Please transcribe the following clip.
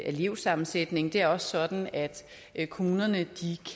elevsammensætning og det er også sådan at at kommunerne